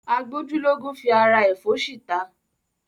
A gbójú lógún fi ara ẹ̀ fóṣì ta.